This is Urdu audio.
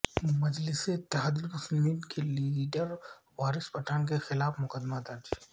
مجلس اتحاد المسلمین کے لیڈر وارث پٹھان کے خلاف مقدمہ درج